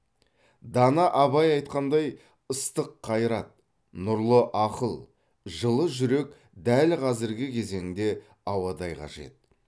дана абай айтқан ыстық қайрат нұрлы ақыл жылы жүрек дәл қазіргі кезеңде ауадай қажет